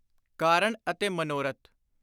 ਕਾਰਣ ਅਤੇ ਮਨੋਰਥ